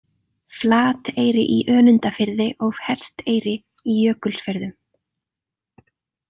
Flateyri í Önundarfirði og Hesteyri í Jökulfjörðum.